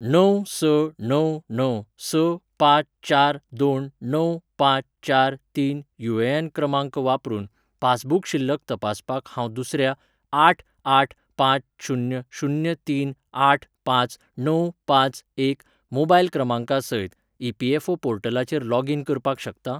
णव स णव णव स पांच चार दोन णव पांच चार तीन युएएन क्रमांक वापरून पासबुक शिल्लक तपासपाक हांव दुसऱ्या आठ आठ पांच शुन्य शुन्य तीन आठ पांच णव पांच एक मोबायल क्रमांका सयत ईपीएफओ पोर्टलाचेर लॉगीन करपाक शकता ?